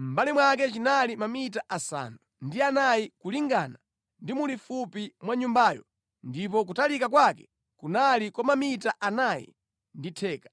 mʼmbali mwake chinali mamita asanu ndi anayi kulingana ndi mulifupi mwa Nyumbayo ndipo kutalika kwake kunali kwa mamita anayi ndi theka.